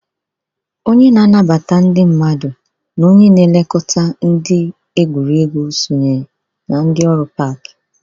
Onye na-anabata ndị mmadụ na onye na-elekọta ndị na-egwuriegwu sonyere na ndị ọrụ pak.